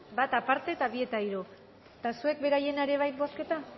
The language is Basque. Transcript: bat aparte eta bi eta hiru eta zuek beraiena ere bai bozketa